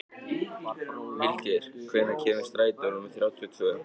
Vilgeir, hvenær kemur strætó númer þrjátíu og tvö?